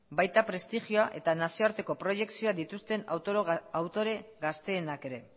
baita prestigioa eta nazioarteko proiekzioa dituzten autore gazteenak ere